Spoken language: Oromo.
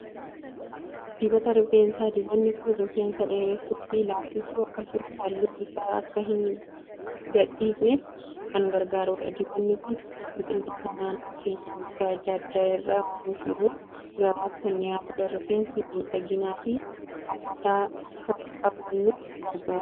Dibata rifeensaa. Dibanni kun rifeensa dheeressuu fi laaffisuuf akkasumas halluu isaa akka hin gadhiifneef kan gargaarudha. Dibanni kun biqiltoota naannoo keenyaa gosa adda addaa irraa oomishamuun gabaaf kan dhiyaatudha. Rifeensa miidhagaa fi hawwataa akka qabaannuuf gargaara.